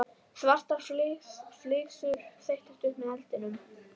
Svartar flygsur þeyttust upp með eldinum.